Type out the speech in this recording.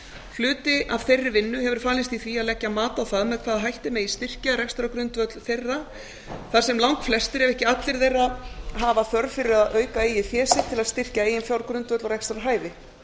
hluti af þeirri vinnu hefur falist í því að leggja mat á það með hvaða hætti megi styrkja rekstrargrundvöll þeirra þar sem langflestir ef ekki allir þeirra hafa þörf fyrir að auka eigið fé sitt til að styrkja eiginfjárgrundvöll og rekstrarhæfi